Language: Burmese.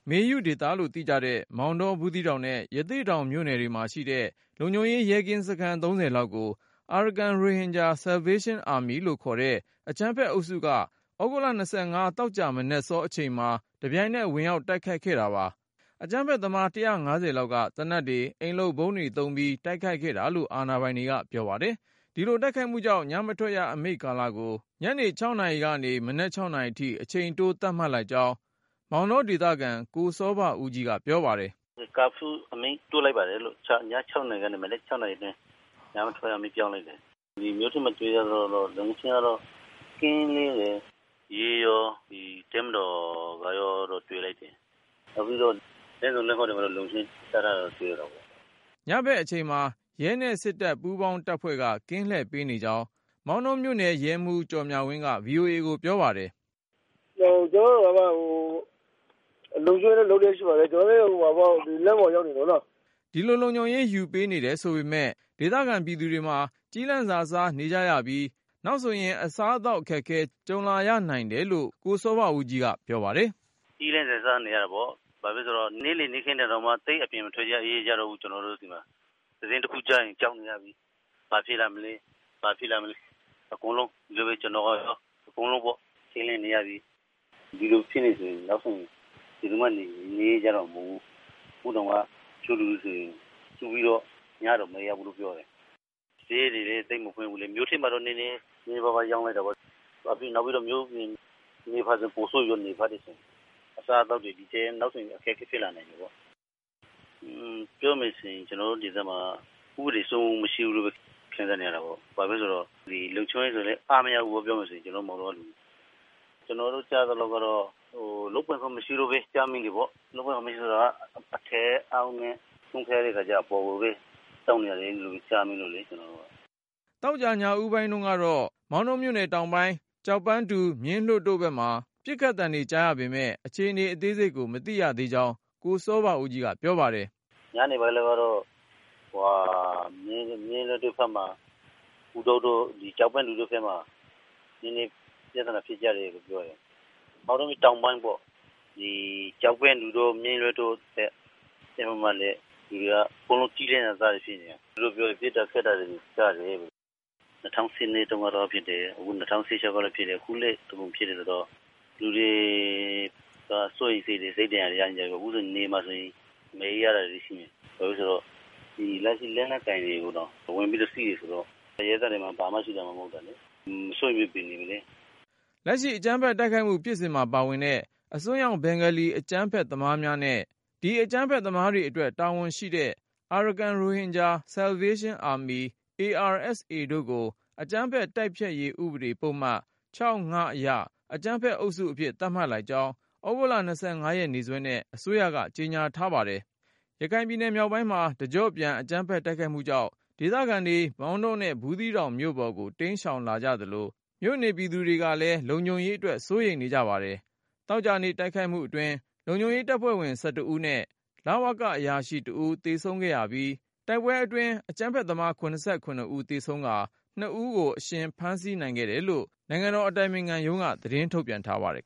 မေယုဒေသလို့ သိကြတဲ့ မောင်တော၊ ဘူးသီးတောင်နဲ့ ရသေ့တောင်မြို့နယ်တွေမှာရှိတဲ့ လုံခြုံရေး ရဲကင်းစခန်း လောက်ကို Arakan Rohingya Salvation Army လို့ခေါ်တဲ့ အကြမ်းဖက်အုပ်စုက သြဂုတ်လ သောကြာမနက်စော အချိန်မှာ တပြိုင်နက် ဝင်ရောက်တိုက် ခိုက်ခဲ့တာပါ။ အကြမ်းဖက်သမား ၁၅၀ လောက်က သေနတ်တွေ၊ အိမ်လုပ်ဗုံးတွေသုံးပြီး တိုက်ခိုက်ခဲ့တာလို့ အာဏာပိုင်တွေက ပြောပါတယ်။ ဒီလိုတိုက်ခိုက်မှုကြောင့် ညမထွက်ရအမိန့်ကာလကို ညနေ နာရီကနေ မနက် နာရီအထိ အချိန်တိုး သတ်မှတ်လိုက်ကြောင်း မောင်တော ဒေသခံ ကိုစောဘဦးကြီးက ပြောပါတယ်။ “ Curfew အမိန့်တိုးလိုက်ပါတယ်။ ည ၆နာရီကနေ မနက်၆ နာရီအတွင်း ညမထွက်ရအမိန့် ပြောင်းလိုက်တယ်။ ဒီမြို့ထဲမှာ တွေ့ရသလောက်ကတော့ လုံခြုံရေးကတော့ ကင်းလှည့်နေတယ်။ ရဲရော တပ်မတော်ကရော တွေ့တယ်။ နောက်ပြီးတော့ လမ်းဆုံလမ်းဂွ တွေမှာလည်း လုံခြုံရေး ချထားတာတွေ့ရတယ်။” ညဖက်အချိန်မှာ ရဲနဲ့စစ်တပ် ပူးပေါင်းတပ်ဖွဲ့က ကင်းလှည့်ပေးနေကြောင်း မောင်တောမြို့နယ် ရဲမှူး ကျော်မြဝင်းက VOA ကိုပြောပါတယ်။ " ကျနော်တို့ လုံခြုံရေးယူထားပါတယ် လမ်းပေါ်မှာ ရောက်နေကြပါတယ်။" ဒီလို လုံခြုံရေးယူပေးနေတယ်ဆိုပေမဲ့ ဒေသခံပြည်သူတွေမှာ ကျီးလန့်စာစားနေကြရပြီး၊ နောက်ဆိုရင် အစားအသောက် အခက်အခဲ ကြုံရနိုင် တယ်လို့ ကိုစောဘဦးကြီးက ပြောပါတယ်။ “ကျီးလန့်စာစားနေရတယ်ပေါ့၊ ဘာလို့လဲဆိုတော့ နေ့လည်နေ့ခင်းတောင်မှ သိပ်ပြီးအပြင်မထွက်ရဲ ကြတော့ဘူး ကျနော်တို့ဆီမှာ။ သတင်းတခုခု ကြားရင် ကြောက်နေရပြီ… ဘာဖြစ်လာမလဲ.. ဘာဖြစ်လာမလဲ။ အကုန်လုံးပဲ ထိန့်လန့်နေရပြီ။ ဒီလိုသာဖြစ်နေမယ် ဆိုရင် နောက်ဆို ဘယ်သူမှ နေရဲကြတော့မှာ မဟုတ်ဘူး။ ခုတောင်မှာ တချို့လူတွေဆိုရင် စုပြီးတော့ ညတောင်မအိပ်ရဘူးလို့ ပြောတယ်။ ဈေးတွေလဲ သိပ်မဖွင့်ဘူးလေ။ မြို့ထဲမှာတော့ နည်းနည်းပါးပါးရောင်းတာပေါ့။ နောက်ပြီး မြို့ပြင်ဘက်ဆိုပိုဆိုးမှာပေါ့ နယ်ဖက်တွေမှာ။ အစားအသောက်တွေ နောက်ဆိုဒီထက် အခက်အခဲဖြစ်လာမှာပေါ့။ ပြောမယ်ဆိုရင် ကျနော်တို့ဒေသမှာက ဥပဒေစိုးမိုးမှု မရှိဘူးလို့ ခံစားနေရ တာပေါ့။ ဘာလို့လဲဆိုရင် လုံခြုံရေးဆိုရင်လဲ အားမရဘူးပေါ့ ကျနော်တို့မောင်တောမှာ။ ကျနော်တို့ကြားမိတာက ရဲက လုပ်ပိုင်ခွင့် မရှိလို့ပဲ ဖြစ်နေရတာ။ လုပ်ပိုင်ခွင့်ဆိုတာက အထက်အောက်နဲ့ ဆုံးဖြတ်ရတဲ့ခါကျတော့ အပေါ်ကိုပဲ ခွင့်တောင်းနေရတယ်လို့ ကြားမိတယ်။ ” သောကြာ ညဦးပိုင်းတုန်းကတော့ မောင်တောမြို့နယ်တောင်ပိုင်း ကျောက်ပန်းတူ၊ မြင်းလွှတ်တို့ဘက်မှာ ပစ်ခတ်သံတွေ ကြားရပေမယ့် အခြေအနေ အသေးစိတ်ကို မသိရသေးကြောင်း ကိုစောဘဦးကြီးက ပြောပါတယ်။ " ညနေပိုင်းတုန်းကတော့ မြင်းလွှတ်တွေဘက်မှာ ကျောက်ပန်းတူတို့ဘက်မှာ နည်းနည်းပြသနာဖြစ်ကြတယ်လို့ပြောတယ်။ မောင်တော တောင်ပိုင်းပေါ့။ လူတွေအကုန်လုံးက ကျီးလန့်စာစားတွေဖြစ်နေကြတာ။ အကုန်လုံးက ပစ်တာခတ်တာတွေ ဖြစ်တယ် ၂၀၁၂တုန်းကလည်းဖြစ်တယ် ၂၀၁၆ကလည်းဖြစ်တယ် အခုလည်းဖြစ်တယ်ဆိုတော့ လူတွေက စိုးရိမ်စိတ်တွေနဲ့ စိတ်ဒဏ်ရာရကြတယ် အခုနယ်မှာဆိုရင် မနေရဲကြတာတွေရှိတယ် လက်ရှိ လက်နက်ကိုင်တွေကိုတောင် ဝင်ပြီးတော့ စီးတယ်ဆိုတော့ လူတွေမှာ ဘာမှာမှ မရှိတာ စိုးရိမ်စိတ်တွေနဲ့နေနေရတယ်။" လက်ရှိ အကြမ်းဖက်တိုက်ခိုက်မှု ဖြစ်စဉ်မှာပါဝင်တဲ့ အစွန်းရောက်ဘင်္ဂါလီ အကြမ်းဖက်သမားများနဲ့ ဒီအကြမ်းဖက်သမားတွေအတွက် တာဝန် ရှိတဲ့ Arakan Rohingya Salvation Army တို့ကို အကြမ်းဖက် တိုက်ဖျက်ရေးဥပဒေ ပုဒ်မ အရ “အကြမ်းဖက်အုပ်စု” အဖြစ် သတ်မှတ်လိုက်ကြောင်း သြဂုတ် ရက်နေ့စွဲနဲ့ အစိုးရက ကြေညာလိုက်ပါတယ်။ ရခိုင်ပြည်နယ်မြောက်ပိုင်း တကျော့ပြန် အကြမ်းဖက်တိုက်ခိုက်မှုကြောင့် ဒေသခံတွေ မောင်တောနဲ့ ဘူးသီးတောင်မြို့ပေါ်ကို တိမ်းရှောင်လာ သလို မြို့နေပြည်သူတွေလည်း လုံခြုံရေးအတွက် စိုးရိမ်နေပါတယ်။ သောကြာနေ့ တိုက်ခိုက်မှုအတွင်း လုံခြုံရေးတပ်ဖွဲ့ဝင် ဦးနဲ့ လဝက အရာရှိ ဦး သေဆုံးခဲ့ရပြီး၊ တိုက်ပွဲအတွင်း အကြမ်းဖက်သမား ဦး သေဆုံးကာ ဦး အရှင်ဖမ်းဆီးခဲ့တယ်လို့ နိုင်ငံတော်အတိုင်ပင်ခံ ရုံးက သတင်းထုတ်ပြန်ပါတယ်